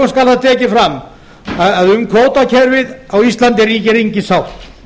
að lokum skal tekið fram að um kvótakerfið á íslandi ríkir engin sátt